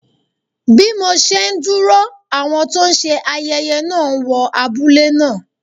Bí mo ṣe ń dúró, àwọn tó ń ṣe ayẹyẹ náà wọ abúlé náà.